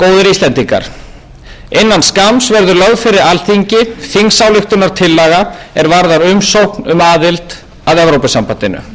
íslendingar innan skamms verður lögð fyrir alþingi þingsályktunartillaga er varðar umsókn um aðild að evrópusambandinu það er sameiginlegur skilningur stjórnarflokkanna að við afgreiðslu á þessari